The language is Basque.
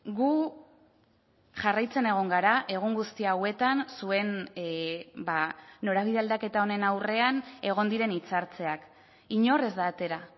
gu jarraitzen egon gara egun guzti hauetan zuen norabide aldaketa honen aurrean egon diren hitzartzeak inor ez da atera